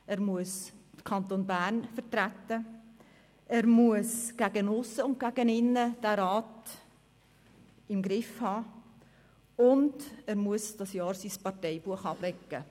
Er muss den Kanton Bern vertreten, er muss gegen aussen und gegen innen den Rat im Griff haben, und er muss für dieses Jahr sein Parteibuch beiseite legen.